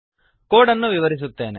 code ಅನ್ನು ವಿವರಿಸುತ್ತೇನೆ